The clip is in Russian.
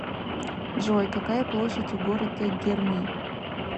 джой какая площадь у города герми